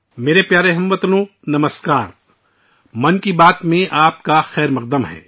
میرے پیارے ہم وطنو، نمسکار! من کی بات میں آپ کا خیر مقدم